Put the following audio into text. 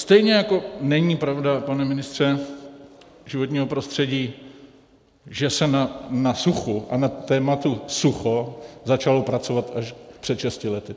Stejně jako není pravda, pane ministře životního prostředí, že se na suchu a na tématu sucho začalo pracovat až před šesti lety.